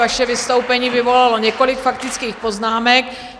Vaše vystoupení vyvolalo několik faktických poznámek.